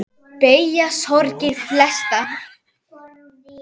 Beygja sorgir flesta.